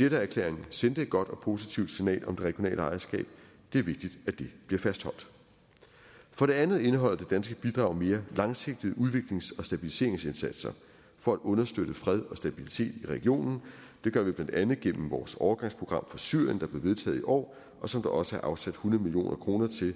jeddaherklæringen sendte et godt og positivt signal om det regionale ejerskab det er vigtigt at det bliver fastholdt for det andet indeholder det danske bidrag mere langsigtede udviklings og stabiliseringsindsatser for at understøtte fred og stabilitet i regionen det gør vi blandt andet gennem vores overgangsprogram for syrien der blev vedtaget i år og som der også er afsat hundrede million kroner til